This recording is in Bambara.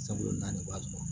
Sabula naani waati